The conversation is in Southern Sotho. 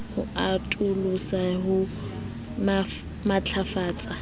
ho atolosa le ho matlafatsa